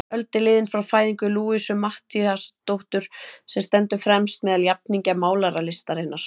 Öld er liðin frá fæðingu Louisu Matthíasdóttur, sem stendur fremst meðal jafningja málaralistarinnar.